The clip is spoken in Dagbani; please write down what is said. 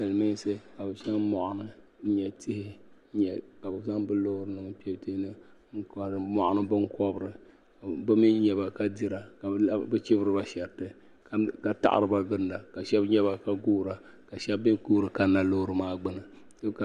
Silmiinsi ka bi chaŋ mɔɣuni n nyɛ tihi ka bi zaŋ bi loori maa n kpe dini n kaari mɔɣuni binkɔbiri bi mi nyaba ka dira ka bi chibiri ba shariti ka taɣiri ba gilinda ka shɛba nyɛba ka guura ka shɛba mi guuri kani na loori maa gbuni.